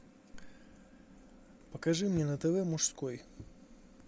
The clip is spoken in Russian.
покажи мне на тв мужской